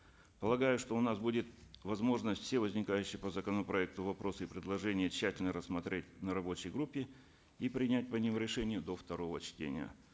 полагаю что у нас будет возможность все возникающие по законопроекту вопросы и предложения тщательно рассмотреть на рабочей группе и принять по ним решения до второго чтения